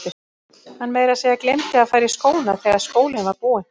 Hann meira að segja gleymdi að fara í skóna þegar skólinn var búinn.